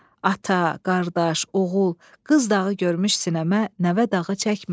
Ata, qardaş, oğul, qız dağı görmüş sinəmə nəvə dağı çəkmə."